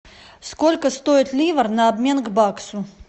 сколько стоит ливр на обмен к баксу